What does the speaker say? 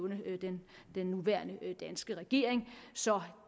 nævne den nuværende danske regering så